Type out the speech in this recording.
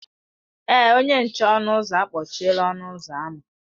Èé, onye nche ọnụ ụzọ a kpọchiela ọnụ ụzọ ámá.